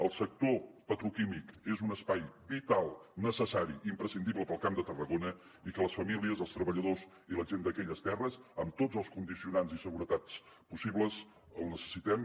el sector petroquímic és un espai vital necessari i imprescindible per al camp de tarragona i les famílies els treballadors i la gent d’aquelles terres amb tots els condicionants i seguretats possibles el necessitem